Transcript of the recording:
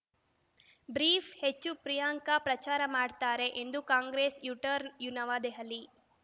brief ಹೆಚ್ಚು ಪ್ರಿಯಾಂಕಾ ಪ್ರಚಾರ ಮಾಡ್ತಾರೆ ಎಂದು ಕಾಂಗ್ರೆಸ್‌ ಯುಟರ್ನ್‌ ಯು ನವದೆಹಲಿ